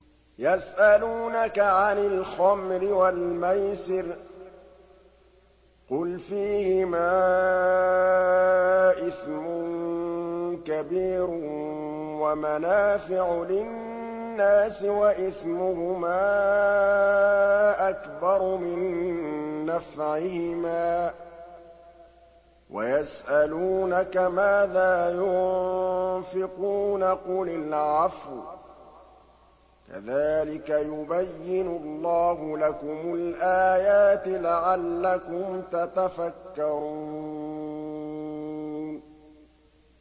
۞ يَسْأَلُونَكَ عَنِ الْخَمْرِ وَالْمَيْسِرِ ۖ قُلْ فِيهِمَا إِثْمٌ كَبِيرٌ وَمَنَافِعُ لِلنَّاسِ وَإِثْمُهُمَا أَكْبَرُ مِن نَّفْعِهِمَا ۗ وَيَسْأَلُونَكَ مَاذَا يُنفِقُونَ قُلِ الْعَفْوَ ۗ كَذَٰلِكَ يُبَيِّنُ اللَّهُ لَكُمُ الْآيَاتِ لَعَلَّكُمْ تَتَفَكَّرُونَ